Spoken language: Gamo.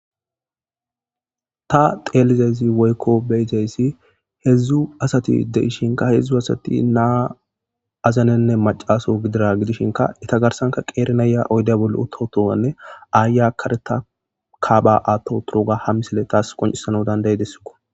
ta teelizazi woykko beyizayssi hedzdzu asati de ishinka hedzdzu asati naa azanenne macaso gidira gidishinka ita garsanka qeeri naya oyda bolle ototowanne aaya kareta kaba aatto turoga ham misile taas qoncisano danday dessiko